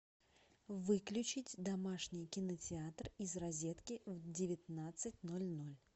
выключить домашний кинотеатр из розетки в девятнадцать ноль ноль